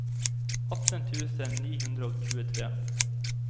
atten tusen ni hundre og tjuetre